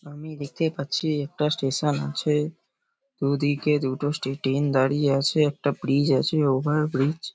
আমি দেখতে পাচ্ছি একটা স্টেশন আছে দুদিকে দুটো স্টে ট্রেন দাঁড়িয়ে আছে একটা ব্রিজ আছে ওভারব্রিজ ।